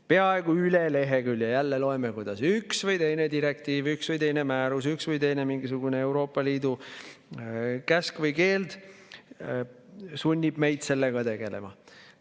Peaaegu üle lehekülje jälle loeme, kuidas üks või teine direktiiv, üks või teine määrus, üks või teine mingisugune Euroopa Liidu käsk või keeld sunnib meid sellega tegelema.